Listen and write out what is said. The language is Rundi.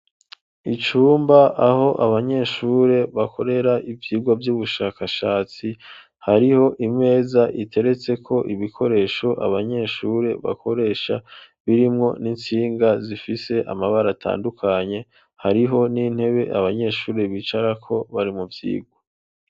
Icumba , aho abanyeshure bakorera ivyigwa vyubushakashatsi ,hariho imeza iteretseko ibikoresho abanyeshure bakoresha , birimwo n'intsinga zifise amabara atandukanye, hariho n'intebe abanyeshure bicarako bari mu vyigwa.